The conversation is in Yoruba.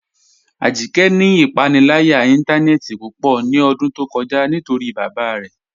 Ajíkẹ́ ni ipànílàyà ìntànẹ̀ẹ̀tì púpọ̀ ní ọ̀dún tó kọ̀já̀ nítorí bábá rẹ̀